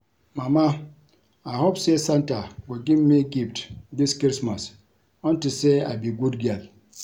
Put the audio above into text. Mama I hope say santa go give me gift dis christmas unto say I be good girl